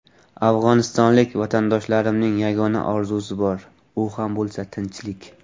Afg‘onistonlik vatandoshlarimning yagona orzusi bor, u ham bo‘lsa tinchlik.